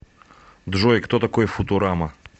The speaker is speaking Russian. джой кто такой футурама